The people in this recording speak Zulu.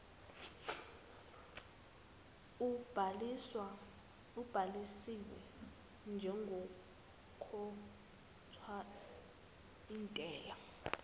ubhalisiwe njengokhokha intela